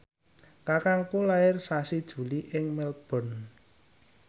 kakangku lair sasi Juli ing Melbourne